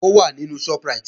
Ó wà nínú Shoprite